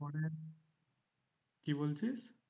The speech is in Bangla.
কি বলছিস?